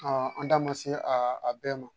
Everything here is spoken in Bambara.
an da ma se a bɛɛ ma